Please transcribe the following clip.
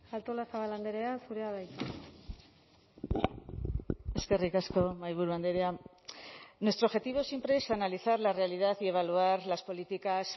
artolazabal andrea zurea da hitza eskerrik asko mahaiburu andrea nuestro objetivo siempre es analizar la realidad y evaluar las políticas